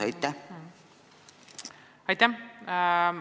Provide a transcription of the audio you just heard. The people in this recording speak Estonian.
Aitäh!